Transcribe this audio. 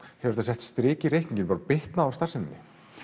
hefur þetta sett strik í reikninginn bara bitnað á starfseminni